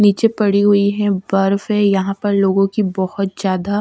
नीचे पड़ी हुई है बर्फ है यहां पर लोगों की बहुत ज्यादा--